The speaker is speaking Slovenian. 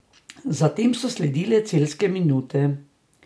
Zatem so sledile celjske minute.